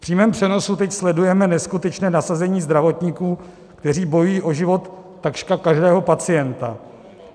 V přímém přenosu teď sledujeme neskutečné nasazení zdravotníků, kteří bojují o život takřka každého pacienta.